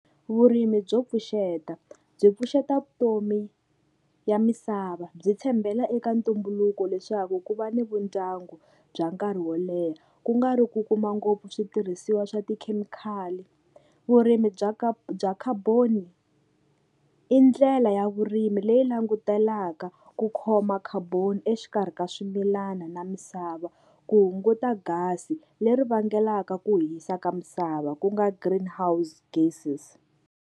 Vurimi byo pfuxeta, byi pfuxeta vutomi ya misava byi tshembela eka ntumbuluko leswaku ku va ni vundyangu bya nkarhi wo leha, ku nga ri ku kuma ngopfu switirhisiwa swa tikhemikhali. Vurimi bya bya carbon i ndlela ya vurimi leyi langutelaka ku khoma carbon exikarhi ka swimilana na misava, ku hunguta gas-i leri vangelaka ku hisa ka misava ku nga greenhouse gases.